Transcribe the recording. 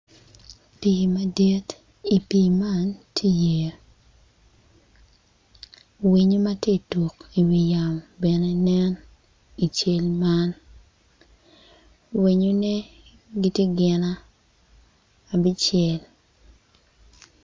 Pii madit i pii man tye iye winyo ma ti iwi yamo bene nen i cal man winyone gitye gin abicel.